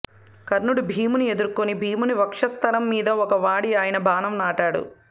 కర్ణుడు భీముని ఎదుర్కొని భీముని వక్షస్థలం మీద ఒక వాడి అయిన బాణం నాటాడు